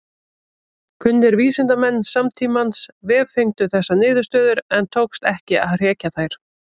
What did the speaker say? Kunnir vísindamenn samtímans vefengdu þessar niðurstöður en tókst ekki að hrekja þær.